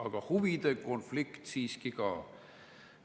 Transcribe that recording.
Aga huvide konflikt siiski kah.